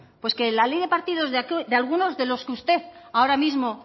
pues que la ley de partidos de algunos de los que usted ahora mismo